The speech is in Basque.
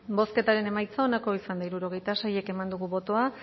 bozketaren emaitza onako izan da hirurogeita sei eman dugu bozka